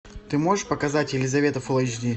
ты можешь показать елизавета фул эйч ди